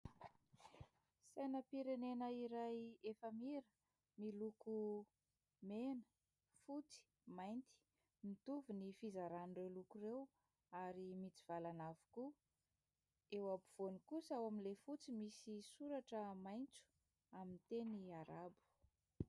Sainam-pirenena iray efamira miloko mena, fotsy, mainty. Mitovy ny fizaran'ireo loko ireo ary mitsivalana avokoa. Eo afovoany kosa ao amin'ilay fotsy misy soratra maitso amin'ny teny Arabo.